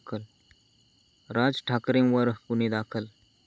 राज ठाकरेंवर गुन्हे दाखल